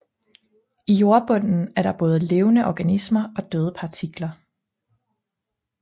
I jordbunden er der både levende organismer og døde partikler